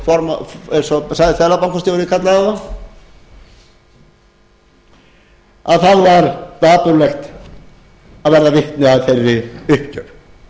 ábyrgðir útrásarvíkinganna óráðsíumannanna eins og seðlabankastjóri kallaði þá þá var dapurlegt að verða vitni að þeirri uppgjöf til viðbótar allri